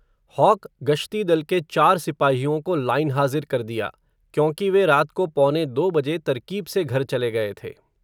hoc गश्तीदल के चार सिपाहियों को लाइनहाज़िर कर दिया, क्योंकि वे रात को पौने दो बजे तरकीब से घर चले गए थे